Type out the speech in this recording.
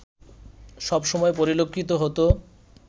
সবসময় পরিলক্ষিত হতো